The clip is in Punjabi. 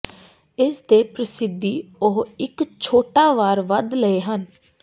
ਇਸ ਦੇ ਪ੍ਰਸਿੱਧੀ ਉਹ ਇੱਕ ਛੋਟਾ ਵਾਰ ਵੱਧ ਲਏ ਹਨ